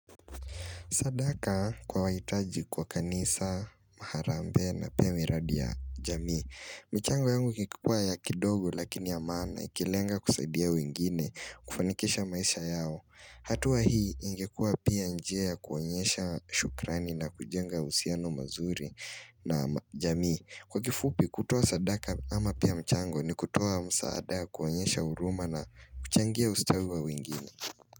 Sadaka kwa waitaji kwa kanisa, maharambe na pia miradi ya jamii. Michango yangu kikipua ya kidogo lakini ya maana ikilenga kusaidia wengine kufanikisha maisha yao. Hatuwa hii ingekua pia njea kuanyesha shukrani na kujenga uhusiano mazuri na jamii. Kwa kifupi kutoa sadaka ama pia mchango ni kutoa msaada kuanyesha huruma na kuchangia ustawua wengine.